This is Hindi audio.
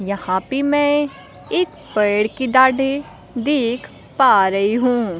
यहां पे मैं एक पेड़ की डाढी देख पा रही हूं।